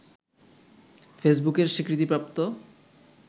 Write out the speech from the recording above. ফেসবুকের স্বীকৃতিপ্রাপ্ত